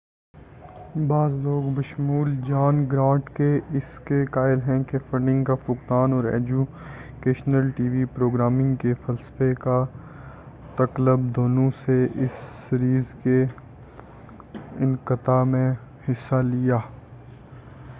بعض لوگ بشمول جان گرانٹ کے اس کے قائل ہیں کہ فنڈ نگ کا فقدان اور اجوکیشنل ٹی وی پروگرامنگ کے فلسفہ کا تقلب دونوں نے اس سیریز کے انقطاع میں حصہ لیا